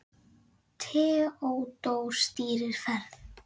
Theódór stýrir ferð.